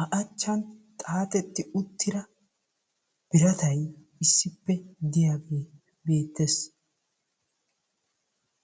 a achan xaaxetti uttida biratay issippe diyagee beettes.